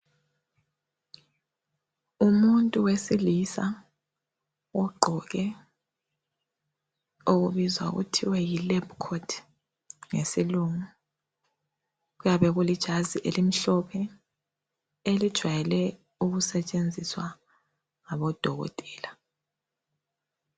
Umuntu wesilisa ogqoke okubizwa kuthiwa yilab coat ngesilungu. Kuyabe kulijazi elimhlophe elijwayele ukusetshenziswa ngabodokotela.